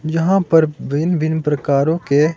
यहां पर भिन्न भिन्न प्रकारों के--